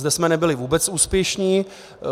Zde jsme nebyli vůbec úspěšní.